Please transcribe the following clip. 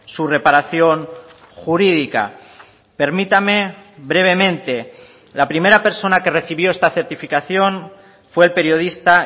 su reparación jurídica permítame brevemente la primera persona que recibió esta certificación fue el periodista